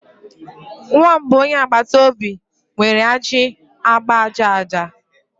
Nwamba onye agbata obi nwere ajị agba aja aja.